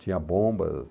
Tinha bombas.